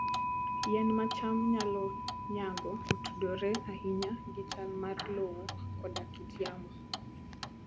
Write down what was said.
Yien ma cham nyalo nyago otudore ahinya gi chal mar lowo koda kit yamo.